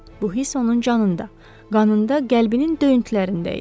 Bu hiss onun canında, qanında, qəlbinin döyüntülərində idi.